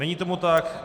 Není tomu tak.